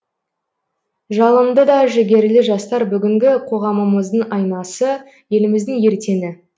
жалынды да жігерлі жастар бүгінгі қоғамымыздың айнасы еліміздің ертеңі